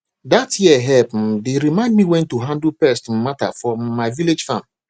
that yeh help um dey remind me when to handle pest um matter for um my vegetable farm